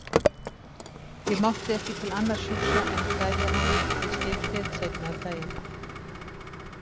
Ég mátti ekki til annars hugsa en kveðja hana við skipshlið seinna um daginn.